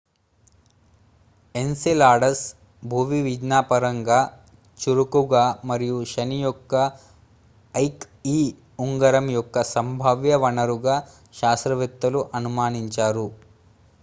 Enceladus భూవిజ్ఞానపరంగా చురుకుగా మరియు శని యొక్క ఐక్e ఉంగరం యొక్క సంభావ్య వనరుగా శాస్త్రవేత్తలు అనుమానించారు